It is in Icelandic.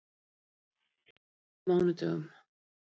Lokatilraun á mánudaginn